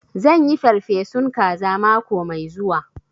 Zan yi farfesun kaza mako mai zuwa